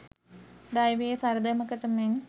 දෛවයේ සරදමකට මෙන්